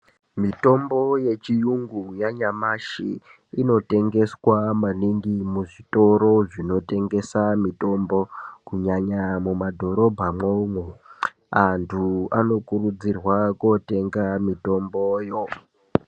Mitombo yechirungu yanyamashi inotengeswa maningi muzvitoro zvinotengeswa mitombo kunyanya mumadhorobha umu antu Anokurudzirwa kotenga mitombomo.